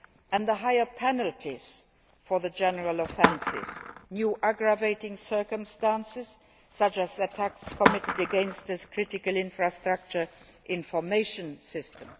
and higher penalties for the general offences, as well as new aggravating circumstances such as attacks committed against a critical infrastructure information system.